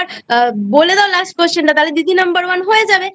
বলে দাও Last Question টা তাহলেদিদি Number One হয়ে যাবে